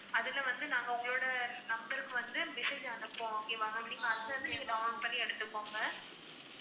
இதில வந்து நாங்க உங்களோட number க்கு வந்து message அனுப்புவோம் okay வா ma'am நீங்க அதுலருந்து நீங்க download பண்ணி எடுத்துக்கோங்க